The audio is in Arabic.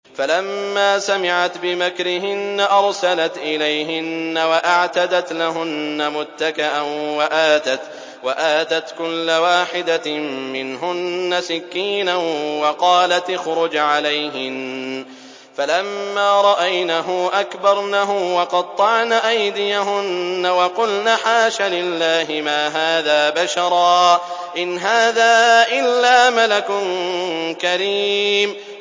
فَلَمَّا سَمِعَتْ بِمَكْرِهِنَّ أَرْسَلَتْ إِلَيْهِنَّ وَأَعْتَدَتْ لَهُنَّ مُتَّكَأً وَآتَتْ كُلَّ وَاحِدَةٍ مِّنْهُنَّ سِكِّينًا وَقَالَتِ اخْرُجْ عَلَيْهِنَّ ۖ فَلَمَّا رَأَيْنَهُ أَكْبَرْنَهُ وَقَطَّعْنَ أَيْدِيَهُنَّ وَقُلْنَ حَاشَ لِلَّهِ مَا هَٰذَا بَشَرًا إِنْ هَٰذَا إِلَّا مَلَكٌ كَرِيمٌ